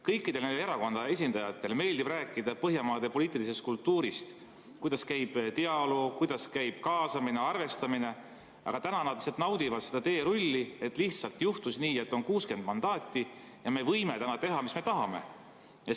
Kõikide nende erakondade esindajatele meeldib rääkida Põhjamaade poliitilisest kultuurist, kuidas käib dialoog, kuidas käib kaasamine, arvestamine, aga täna nad lihtsalt naudivad seda teerulli, et lihtsalt juhtus nii, et on 60 mandaati ja nad võivad teha, mis nad tahavad.